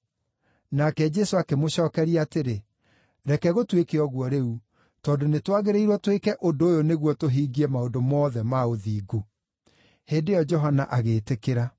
Nake Jesũ akĩmũcookeria atĩrĩ, “Reke gũtuĩke ũguo rĩu; tondũ nĩtwagĩrĩirwo twĩke ũndũ ũyũ nĩguo tũhingie maũndũ mothe ma ũthingu.” Hĩndĩ ĩyo Johana agĩĩtĩkĩra.